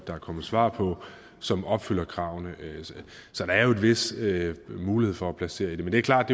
der er kommet svar på som opfylder kravene så der er jo en vis mulighed for indplacering men det er klart at